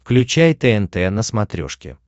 включай тнт на смотрешке